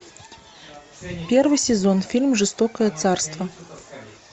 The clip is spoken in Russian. первый сезон фильм жестокое царство